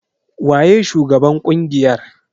Waye shugaban ƙungiyar?